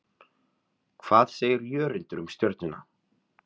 Hvað segir Jörundur um Stjörnuna?